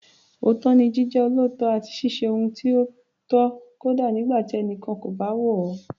Òótọ́ ni Jíjẹ́ olóòótọ́ àti ṣíṣe ohun tí ó tọ́ kódà nígbà tí ẹnikẹ́ni kò bá wò ó.